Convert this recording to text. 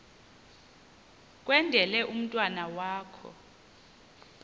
kwendele umntwana wakho